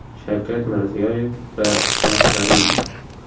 Shavkat Mirziyoyev va Islom Karimov.